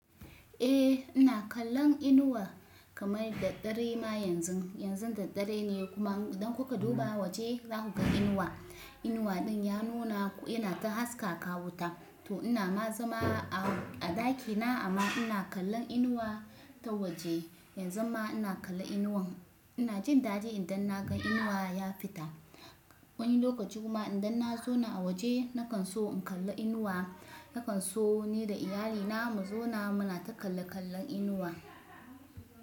Eh ina kallon inuwa kamar da ɗare ma yanzun. Yanzun da ɗare ne kuma idan kuka duba waje za ku ga inuwa. Inuwa ɗin ya nuna yana ta haskaka wuta. To ina ma zama a, a dakina amma ina kallon inuwa ta waje. Yanzu ma ina kalla inuwan ina jin dadi idan na gan inuwa ya fita. Wani lokaci kuma idan na zauna a waje na kan so in kalla inuwa, na kan so ni da iyalina mu zauna muna ta kalla-kallon inuwa.